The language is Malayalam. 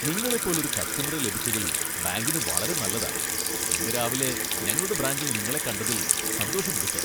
നിങ്ങളെപ്പോലൊരു ഒരു കസ്റ്റമറെ ലഭിച്ചതിൽ ബാങ്കിന് വളരെ നല്ലതാ, ഇന്ന് രാവിലെ ഞങ്ങളുടെ ബ്രാഞ്ചിൽ നിങ്ങളെ കണ്ടതിൽ സന്തോഷമുണ്ട്, സാർ!